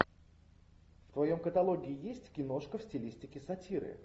в твоем каталоге есть киношка в стилистике сатиры